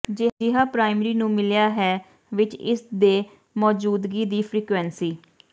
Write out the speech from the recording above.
ਜਿਹਾ ਪ੍ਰਾਇਮਰੀ ਨੂੰ ਮਿਲਿਆ ਹੈ ਵਿੱਚ ਇਸ ਦੇ ਮੌਜੂਦਗੀ ਦੀ ਫਰੀਕੁਇੰਸੀ